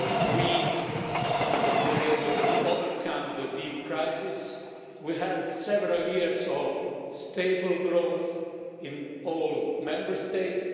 We were able to overcome the deep crisis and we had several years of stable growth in all Member States.